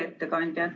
Hea ettekandja!